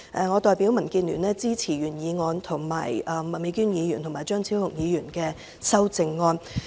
我代表民主建港協進聯盟支持原議案，並支持麥美娟議員及張超雄議員的修正案。